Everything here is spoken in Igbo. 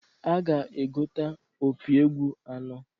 A ga-egota opi egwu anọọ.